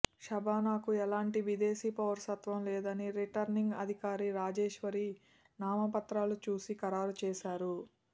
షబానాకు ఎలాంటి విదేశీ పౌరసత్వం లేదని రిటర్నింగ్ అధికారి రాజేశ్వరి నామపత్రాలు చూసి ఖరారు చేశారు